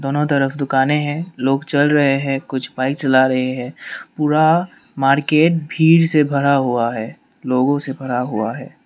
दोनों तरफ दुकाने हैं। लोग चल रहे हैं। कुछ बाइक चला रहे हैं। पूरा मार्केट भीड़ से भरा हुआ है लोगों से भरा हुआ है।